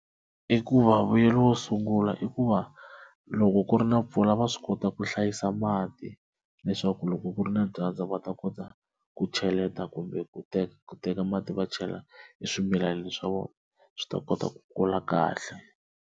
I ku va vuyelo wo sungula i ku va loko ku ri na mpfula va swi kota ku hlayisa mati leswaku loko ku ri na dyandza va ta kota ku cheleta kumbe ku teka ku teka mati va chela eswimilana swa vona swi ta kota ku kula kahle.